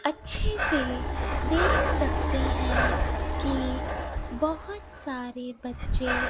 अच्छे से देख सकते हैं कि बहोत सारे बच्चे --